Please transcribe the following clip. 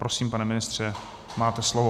Prosím, pane ministře, máte slovo.